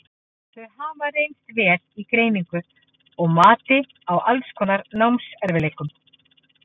Þau hafa því reynst vel í greiningu og mati á alls konar námserfiðleikum.